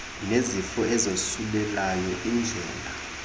nezifo ezosulelayo indlala